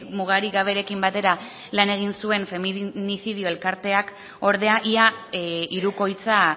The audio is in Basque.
mugarik gaberekin batera lan egin zuen feminizidio elkarteak ordea ia hirukoitza